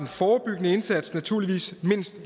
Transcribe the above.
forebyggende indsats naturligvis mindst